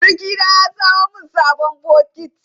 Surukina ya samo min sabon bokiti.